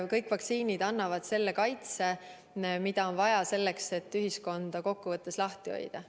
Kõik vaktsiinid annavad kaitse ja seda ongi vaja selleks, et ühiskonda kokkuvõttes lahti hoida.